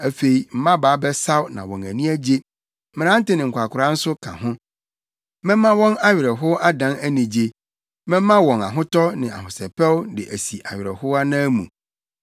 Afei mmabaa bɛsaw na wɔn ani agye, mmerante ne nkwakoraa nso ka ho. Mɛma wɔn awerɛhow adan anigye; mɛma wɔn ahotɔ ne ahosɛpɛw de asi awerɛhow anan mu.